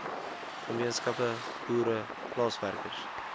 gemeenskappe boere plaaswerkers